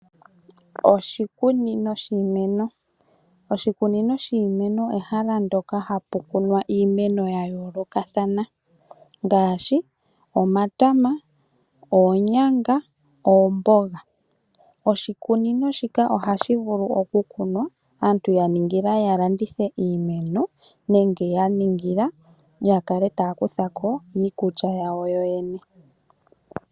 Oshikunino shiimeno ehala ndyoka ha pu kunwa iimeno ya yoolokathana ngashi omatama, oonyanga, oomboga. Oshikunino shika ohashi vulu okulunwa asmtu ya landithe iimeno nenge ya ningila ya kale taya kutha ko iikulta yawo yene.